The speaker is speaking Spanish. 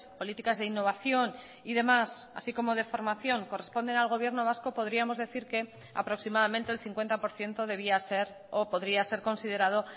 políticas de innovación y demás así como de formación corresponden al gobierno vasco podríamos decir que aproximadamente el cincuenta por ciento debía ser o podría ser considerado